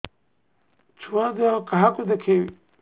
ଛୁଆ ଦେହ କାହାକୁ ଦେଖେଇବି